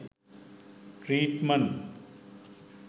treatment